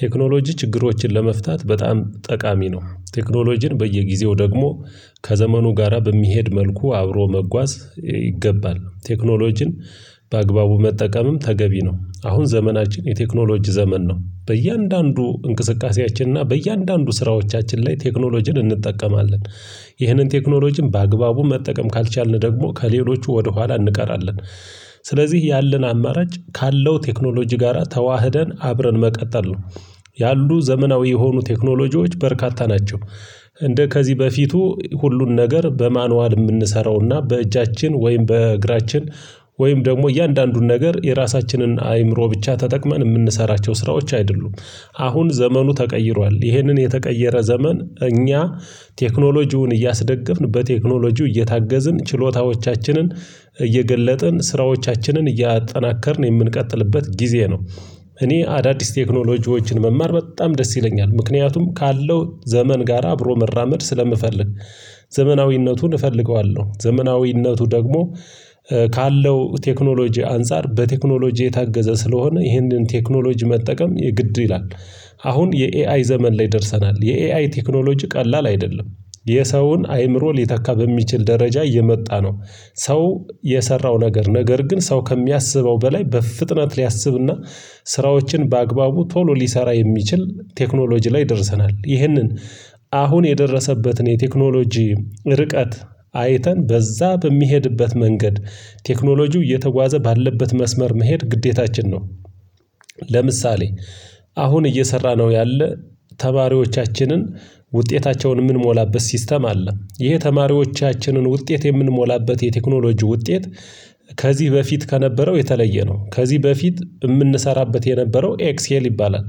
ቴክኖሎጂ ችግሮችን ለመፍታት በጣም ጠቃሚ ነው ቴክኖሎጂን በየጊዜው ደግሞ ከዘመኑ ጋራ በሚሄድ መልኩ አብሮ መጓዝ ይገባል ቴክኖሎጂን በአግባቡ መጠቀምም ተገቢ ነው። አሁን ዘመናችን የቴክኖሎጂ ዘመን ነው በእያንዳንዱ እንቅስቃሴያችን እና በእያንዳንዱ ስራዎቻችን ላይ ቴክኖሎጂን እንጠቀማለን። ይህንን ቴክኖሎጂም በአግባቡ መጠቀም ካልቻልን ደግሞ ከሌሎቹ ወደኋላ እንቀራለን። ስለዚህ ያለን አማራጭ ካለው ቴክኖሎጂ ጋራ ተዋህደን አብረን መቀጠል ነው። ያሉ ዘመናዊ የሆኑ ቴክኖሎጂዎች በርካታ ናቸው። እንደ ከዚህ በፊቱ ሁሉን ነገር በማኑዋል የምንሰራውና በእጃችን ወይም በእግራችን ወይም ደግሞ እያንዳንዱን ነገር የራሳችንን አይምሮ ብቻ ተጠቅመን የምንሰራቸው ስራዎች አይደሉም። አሁን ዘመኑ ተቀይሯል ይህንን የተቀየረ ዘመን እኛ ቴክኖሎጂውን እያስደገፍን በቴክኖሎጂው እየታገዝን ችሎታዎቻችንን እየገለጥን ስራዎቻችንን እያጠናከርን የምንቀጥልበት ጊዜ ነው። እኔ አዳዲስ ቴክኖሎጂዎችን መማር በጣም ደስ ይለኛል ምክንያቱም ካለው ዘመን ጋራ አብሮ መራመድ ስለምፈልግ። ዘመናዊነቱን እፈልገዋለሁ ዘመናዊነቱ ደግሞ ካለው ቴክኖሎጂ አንፃር በቴክኖሎጂ የታገዘ ስለሆነ ይህንን ቴክኖሎጂ መጠቀም የግድ ይላል። አሁን የኤአይ ዘመን ላይ ደርሰናል የኤአይ ቴክኖሎጂ ቀላል አይደለም። የሰውን አይምሮ ሊተካ በሚችል ደረጃ እየመጣ ነው። ሰው የሰራው ነገር ነገር ግን ሰው ከሚያስበው በላይ በፍጥነት ሊያስብና ስራዎችን በአግባቡ ቶሎ ሊሰራ የሚችል ቴክኖሎጂ ላይ ደርሰናል። ይህንን አሁን የደረሰበትን የቴክኖሎጂ ርቀት አይተን በዛ በሚሄድበት መንገድ ቴክኖሎጂው እየተጓዘ ባለበት መስመር መሄድ ግዴታችን ነው። ለምሳሌ አሁን እየሰራ ነው ያለ ተማሪዎቻችንን ውጤታቸውን የምንሞላበት ሲስተም አለ ይሄ ተማሪዎቻችንን ውጤት የምንሞላበት የቴክኖሎጂ ውጤት። ከዚህ በፊት ከነበረው የተለየ ነው ከዚህ በፊት የምንሰራበት የነበረው ኤክስኤል ይባላል።